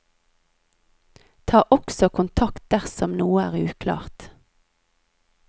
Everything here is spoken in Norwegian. Ta også kontakt dersom noe er uklart.